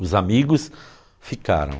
Os amigos ficaram.